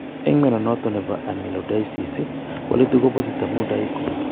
En mnyondo noton nebo amyloidosis walutik ko positive amun dye ko